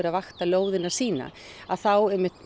að vakta lóðina sína þá